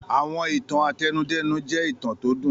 Àwọn ìtàn àtẹnudẹ́nu jẹ́ ìtàn tó dùn.